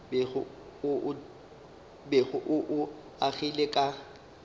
bego o o agile ka